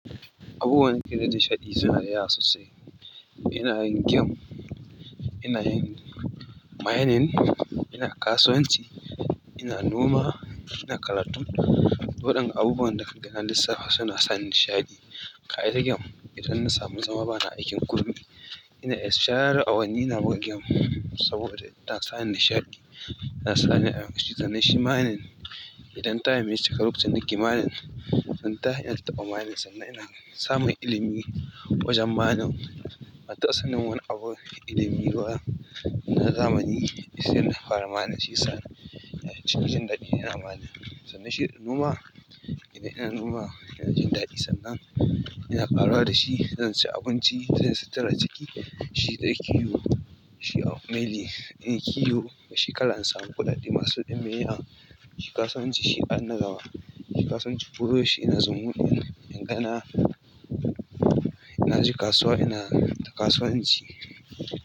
Abubuwan da suke sani nishaɗi suna da yawa sosai. Ina yin game, ina yin mining, ina kasuwanci, ina noma, ina karatu. Waɗannan abubuwan da na lissafa suna sani nishaɗi. Kai da game, idan na samu zama bana aikin komai. Ina iya share awanni ina buga game saboda tana sani nishaɗi. Tana sani a cikin shi. Mainin idan taim ya cika lokacin da na ke mainin. Idan na tashi ina taɓa mainin, sannan ina samun ilimi wajen mainin. Ban taɓa sanin wani abu, ilimi ba na zamani sai da na fara mainin, shiyasa nake jin daɗi idan ina mainin. Sannan shi noma, idan ina noma ina jin daɗi sannan ina ƙaruwa da shi. Zan ci abinci, zan sutura jiki, shi da kiwo, shi. Ina kiwo a shekara in samu kuɗaɗe masu ɗimbin yawa. Shi kasuwanci shi an na gaba. Kasuwanci ko yaushe ina zumuɗin in ga na je kasuwa ina kasuwanci.